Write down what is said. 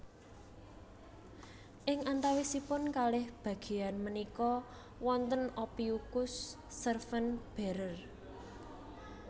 Ing antawisipun kalih bagéyan punika wonten Ophiuchus serpent bearer